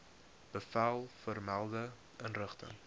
bevel vermelde inrigting